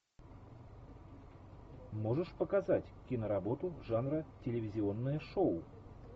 можешь показать киноработу жанра телевизионное шоу